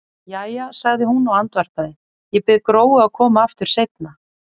Jæja, sagði hún og andvarpaði, ég bið Gróu að koma aftur seinna.